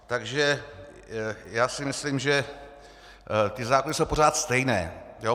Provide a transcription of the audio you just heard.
Takže já si myslím, že ty zákony jsou pořád stejné.